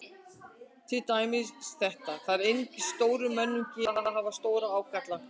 Til dæmis þetta: Það er einungis stórum mönnum gefið að hafa stóra ágalla.